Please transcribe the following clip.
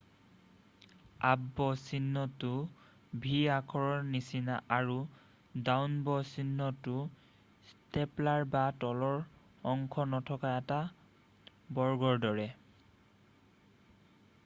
"""Up bow'" চিহ্নটো v আখৰৰ নিচিনা আৰু "ডাউন ব'" চিহ্নটো ষ্টেপলাৰ বা তলৰ অংশ নথকা এটা বৰ্গৰ দৰে।""